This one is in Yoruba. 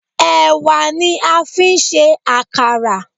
Ẹ̀wà ni a fi ń ṣe àkàrà